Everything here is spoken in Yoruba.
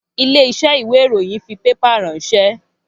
Ilé iṣẹ́ ìwé ìròyìn fi pépà ránsẹ́